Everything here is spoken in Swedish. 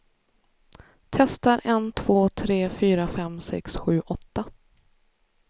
Testar en två tre fyra fem sex sju åtta.